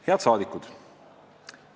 Head rahvasaadikud!